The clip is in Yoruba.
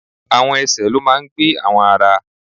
Àwọn ẹsẹ̀ ló máa ń gbé àwọn ara.